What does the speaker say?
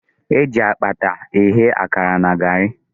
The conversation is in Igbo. Eji akpata eghe akara na garị.